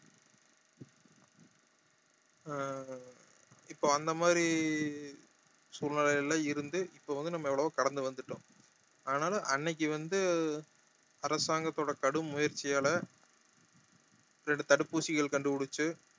அஹ் இப்போ அந்த மாதிரி சூழ்நிலையில இருந்து இப்ப வந்து நம்ம எவ்வளவோ கடந்து வந்துட்டோம் ஆனாலும் அன்னைக்கு வந்து அரசாங்கத்தோட கடும் முயற்சியால ரெண்டு தடுப்பு ஊசிகள் கண்டுபுடிச்சு